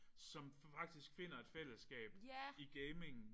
Som faktisk finder et fællesskab i gamingen